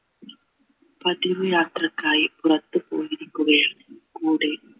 പതിവ് യാത്രയ്ക്കായി പുറത്ത് പോയിരിക്കുകയാണ് കൂടെ